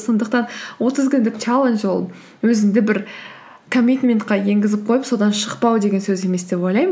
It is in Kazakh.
сондықтан отыз күндік чаллендж ол өзіңді бір комминтментке енгізіп қойып содан шықпау деген сөз емес деп ойлаймын